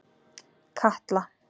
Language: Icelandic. Katla